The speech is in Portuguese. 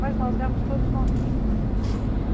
Mas nós éramos todas novinhas.